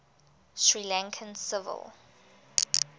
sri lankan civil